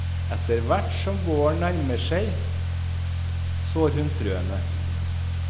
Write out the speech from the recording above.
Etterhvert som våren nærmere seg, sår hun frøene.